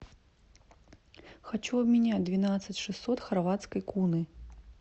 хочу обменять двенадцать шестьсот хорватской куны